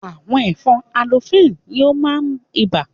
Àwọn ẹ̀fọn anopheles ni ó máa ń ibà.